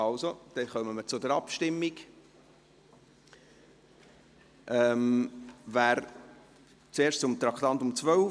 Dann kommen wir zur Abstimmung, zuerst zum Traktandum 12.